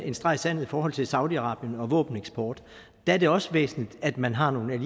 en streg i sandet i forhold til saudi arabien og våbeneksporten der er det også væsentligt at man har nogle